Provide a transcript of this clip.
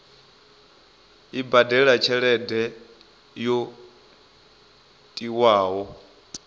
i badele tshelede yo tiwaho